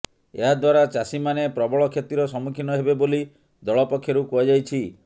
ଏହା ଦ୍ୱାରା ଚାଷୀମାନେ ପ୍ରବଳ କ୍ଷତିର ସମ୍ମୁଖୀନ ହେବେ ବୋଲି ଦଳ ପକ୍ଷରୁ କୁହାଯାଇଛି